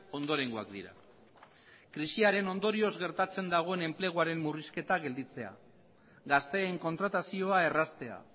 ondorengoak dira krisiaren ondorioz gertatzen dagoen enpleguaren murrizketa gelditzea gazteen kontratazioa erraztea